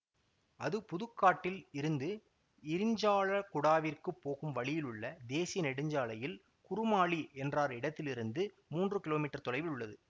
அது புதுக்காடில் இருந்து இரிஞ்சாலக்குடாவிற்குப் போகும் வழியிலுள்ள தேசிய நெடுஞ்சாலையில் குருமாலி என்றார் இடத்திலிருந்து மூன்று கிலோமீட்டர் தொலைவில் உள்ளது